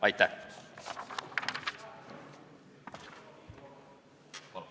Aitäh!